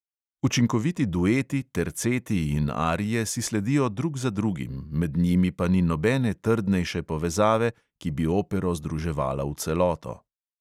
Učinkoviti dueti, terceti in arije si sledijo drug za drugim, med njimi pa ni nobene trdnejše povezave, ki bi opero združevala v celoto.